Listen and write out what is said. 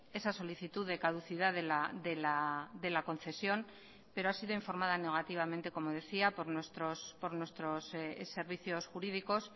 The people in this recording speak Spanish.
esa solicitud de caducidad de la concesión pero ha sido informada negativamente como decía por nuestros servicios jurídicos